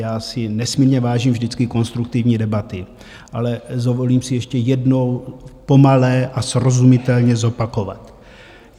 Já si nesmírně vážím vždycky konstruktivní debaty, ale dovolím si ještě jednou pomalu a srozumitelně zopakovat.